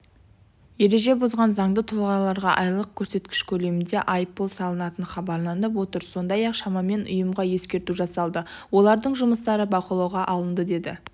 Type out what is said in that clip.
ереже бұзған заңды тұлғаларға айлық көрсеткіш көлемінде айыппұл салынатыны хабарланып отыр сондай-ақ шамамен ұйымға ескерту жасалды олардың жұмыстары бақылауға алынды деді